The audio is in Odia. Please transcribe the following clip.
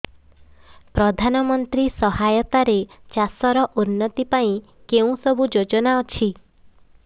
ପ୍ରଧାନମନ୍ତ୍ରୀ ସହାୟତା ରେ ଚାଷ ର ଉନ୍ନତି ପାଇଁ କେଉଁ ସବୁ ଯୋଜନା ଅଛି